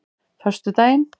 föstudaginn